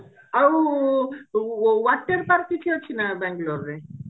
ଆଉ ଊ water park କିଛି ଅଛି ନା ବଙ୍ଗେଲୋରରେ